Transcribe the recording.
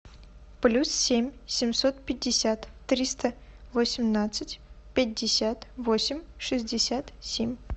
плюс семь семьсот пятьдесят триста восемнадцать пятьдесят восемь шестьдесят семь